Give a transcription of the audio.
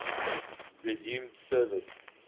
resumed service